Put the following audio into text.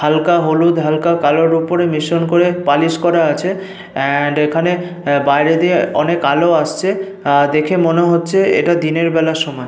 হালকা হলুদ হালকা কালোর ওপরে মিশ্রণ করে পালিশ করা আছে এন্ড এখানে বাইরে দিয়ে অনেক আলো আসছে। আহ দেখে মনে হচ্ছে এটা দিনের বেলার সময়।